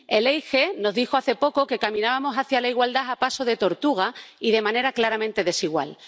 El EIGE nos dijo hace poco que caminábamos hacia la igualdad a paso de tortuga y de manera claramente desigual.